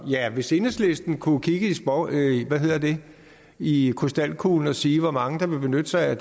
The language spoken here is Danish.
ja hvis enhedslisten kunne kigge i krystalkuglen og sige hvor mange der ville benytte sig af